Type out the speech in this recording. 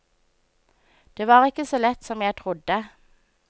Det var ikke så lett som jeg trodde.